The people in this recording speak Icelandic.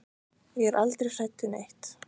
Ég er aldrei hrædd við neitt.